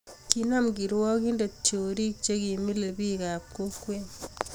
Kinam kirwakinte chorii che kimilei biik ab kokwee.